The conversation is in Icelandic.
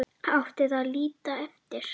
Átti að líta eftir